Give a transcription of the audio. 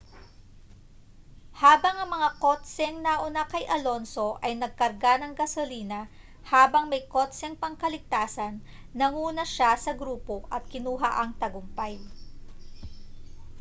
habang ang mga kotseng nauna kay alonso ay nagkarga ng gasolina habang may kotseng pangkaligtasan nanguna siya sa grupo at kinuha ang tagumpay